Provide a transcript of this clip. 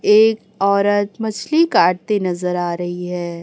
एक औरत मछली काटते नजर आ रही है।